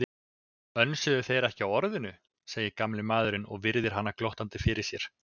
Önsuðu þeir ekki á Orðinu, segir gamli maðurinn og virðir hana glottandi fyrir sér.